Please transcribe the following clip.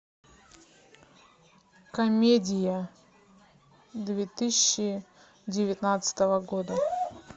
комедия две тысячи девятнадцатого года